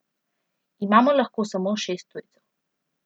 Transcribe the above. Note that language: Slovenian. Imamo lahko samo šest tujcev.